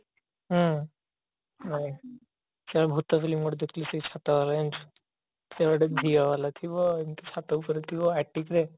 ହୁଁ ମୁଁ ଗୋଟେ ଭୁତ film ଗୋଟେ ଦେଖିଥିଲି ସେଇ ଛାତ ବଳ ଜାଣିଛୁ ସେ ଗିତେ ଝିଅ ଥିବ ଏମିତି ଛାତ ଉପରେ ରେ